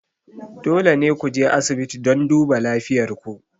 Dole ne ku je asibiti don duba lafiyar ku.